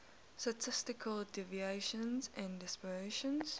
statistical deviation and dispersion